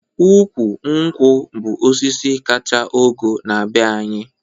Ụkwụ nkwụ bụ osisi kacha ogo na-be anyị